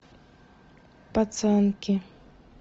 пацанки